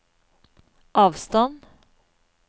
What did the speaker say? avstand